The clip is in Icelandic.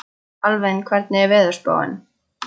Alvin, hvernig er veðurspáin?